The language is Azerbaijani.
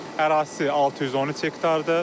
Ərazisi 613 hektardır.